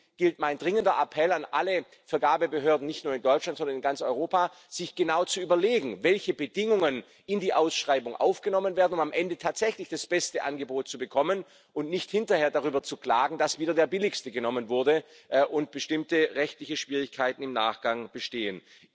Deswegen mein dringender Appell an alle Vergabebehörden nicht nur in Deutschland, sondern in ganz Europa sich genau zu überlegen, welche Bedingungen in die Ausschreibung aufgenommen werden, um am Ende tatsächlich das beste Angebot zu bekommen und nicht hinterher darüber zu klagen, dass wieder das billigste Angebot genommen wurde, und bestimmte rechtliche Schwierigkeiten im Nachgang bestehen.